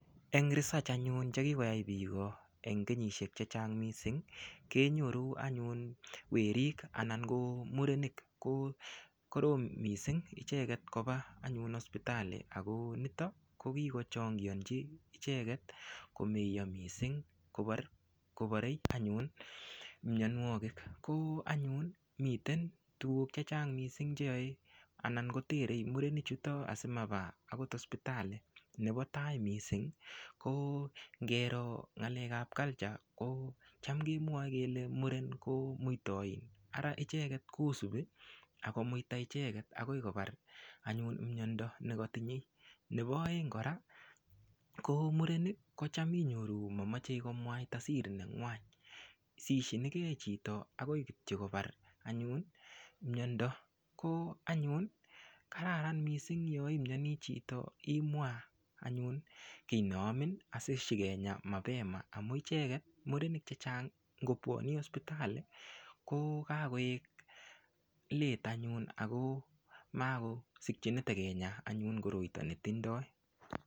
Eng research anyun chekikoyai piko eng' kenyishek chechang mising kenyoru anyun werik anan ko murenik korom mising' icheget kopa anyun hospitali ako nito ko kiko changionji icheket komeiyo mising' koporei anyun mionwokik ko anyun miten tukuuk chechang mising' cheyae anan koterei murenichuto asimapa akot hospitali napo tai mising' ko ngero ng'alek ap culture ko cham kemwoe kele muren ko muitoin ara icheket kosupi akomuita icheket akoi kopar anyun miondo nikatinyei nepo oeng kora ko murenik kocham inyoru mamachei komwaita siri nengwany sishinike chito kityo akoi kopara anyun miondo ko anyun kararan mising yoimnyoni chito imwa anyun kiy neamin asishikenya mapema amun icheket murenik chechang' ngopuani hospitali kokakoek late anyun ako makosikchini tekenya anyun koroito netindoi.